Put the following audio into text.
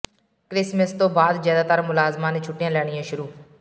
Christmas ਤੋਂ ਬਾਅਦ ਜ਼ਿਆਦਾਤਰ ਮੁਲਾਜ਼ਮਾਂ ਨੇ ਛੁੱਟੀਆਂ ਲੈਣੀਆਂ ਸ਼ੁਰੂ